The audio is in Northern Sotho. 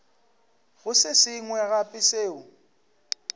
go se sengwe gape seo